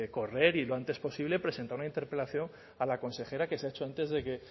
correr y lo antes posible presentar una interpelación a la consejera que se ha hecho antes de que